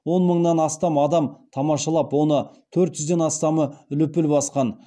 он мыңнан астам адам тамашалап оның төрт жүзден астамы лүпіл басқан